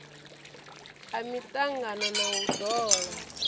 a miṱangano na u ḓola